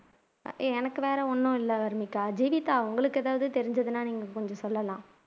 எனக்கு வேற ஒன்னும் இல்ல வர்னிகா ஜீவிதா உங்களுக்கு எதாவதுதெரிஞ்சதுன்னா நீங்க கொஞ்சம் சொல்லலாம்